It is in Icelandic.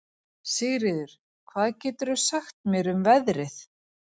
Sigríður, hvað geturðu sagt mér um veðrið?